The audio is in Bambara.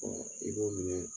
i b'o minɛ